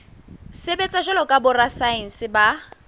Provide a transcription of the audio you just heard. sebetsa jwalo ka borasaense ba